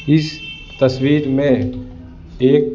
इस तस्वीर में एक--